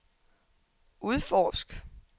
udforsk